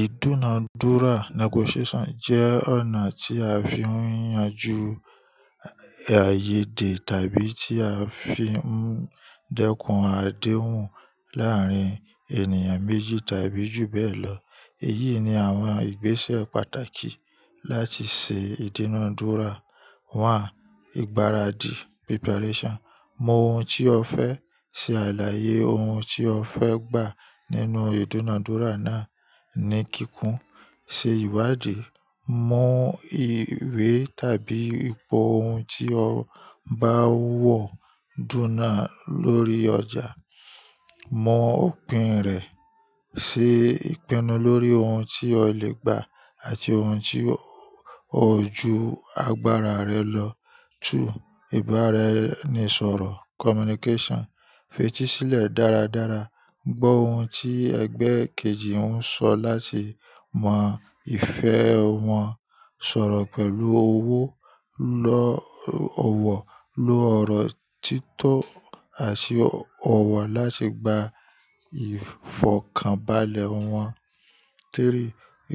Ìdúnadúrà negotiation jẹ́ ọ̀nà tí a fi ń yanjú àìyèdè tàbí tí a fi ń dẹ́kun adéhùn láàárín ènìyàn méjì tàbí jù bẹ́ẹ̀ lọ. Èyí ni àwọn ìgbésẹ̀ pàtàkì láti ṣe ìdúnadúrà. One, ìgbáradì preparation. Mọ oun tí o fẹ́ ṣe àlàyé oun tí o fẹ́ gbà nínú ìdúnadúrà náà ní kíkún. Se ìwádìí, mọ ìwé tàbí ipò oun tí o bá ń wọ dúna lórí ọjà. Mọ òpin rẹ, ṣe ìpinnu lórí oun tí o lè gbà àti ohun tí o ju agbára rẹ lọ. Two, ìbáraẹnisọ̀rọ̀ communication. Fetí sílẹ̀ dáradára, gbọ́ ohun tí ẹgbẹ́ kejì ń sọ láti mọ ìfẹ́ wọn. Sọ̀rọ̀ pẹ̀lú owó, lọ ọ̀wọ̀, lo ọ̀rọ̀ títò àti ọ̀wọ̀ láti gba ìfọ̀kànbalẹ̀ wọn. Three,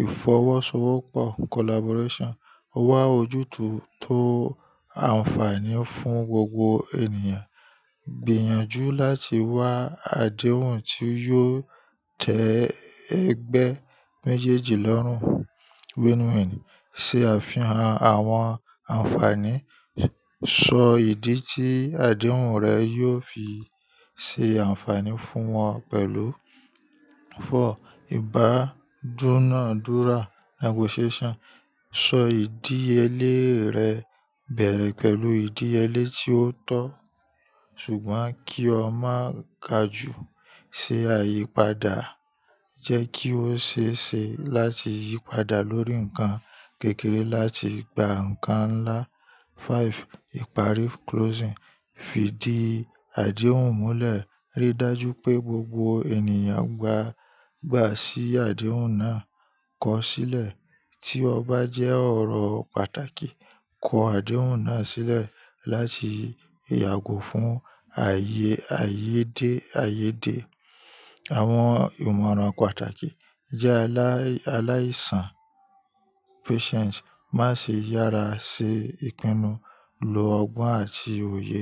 ìfọwọ́sowọ́pọ̀ collaboration. Wa ojútùú tó ànfààní fún gbogbo ènìyàn. Gbìyànjú láti wá adéhùn tí yóò tẹ ẹgbẹ́ méjéèjì lọ́rùn. Win-win. Se àfihàn àwọn ànfààní, sọ ìdí tí àdéhùn rẹ yóò fi ṣe ànfààní fún wọn pẹ̀lú. Four, ìbádúnadúrà negotiation. Sọ ìdíyẹlé rẹ, bẹ̀rẹ̀ pẹ̀lú ìdíyẹlé tí ó tọ́, ṣùgbọ́n kí o má ka ju. Se àyípadà, jẹ́ kí ó ṣe é ṣe láti yí padà lórí ǹkan kékeré láti gba ǹkan ńlá. Five, ìparí closing. Fi di adéhùn múlẹ̀, ríi dájú pé gbogbo ènìyàn gbàa gbà sí adéhùn náà. Kọ sílẹ̀ tí ọba jẹ́ ọ̀rọ̀ pàtàkì. Kọ adéhùn náà sílẹ̀ láti yàgò fún ààye ààyèdè ààyèdè Àwọn ìmọ̀ràn pàtàkì jẹ́ aláìsàn patience, má ṣe yára ṣe ìpinnu, lo ọgbọ́n àti òye.